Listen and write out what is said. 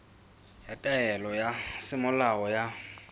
ya taelo ya semolao ya